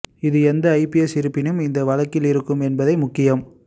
இது எந்த ஜிபிஎஸ் இருப்பினும் இந்த வழக்கில் இருக்கும் என்பதை முக்கியம்